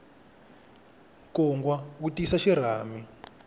nkungwa wu tisa xirhami